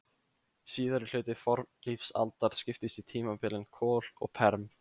Síðari hluti fornlífsaldar skiptist í tímabilin kol og perm.